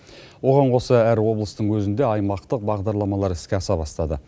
оған қоса әр облыстың өзінде аймақтық бағдарламалар іске аса бастады